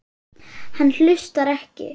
Hann hlustar ekki.